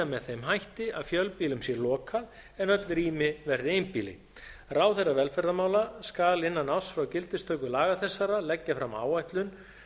með þeim hætti að fjölbýlum sé lokað en öll rými verði einbýli ráðherra velferðarmála skal innan árs frá gildistöku laga þessara leggja fram áætlun